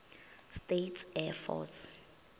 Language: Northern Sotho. states air force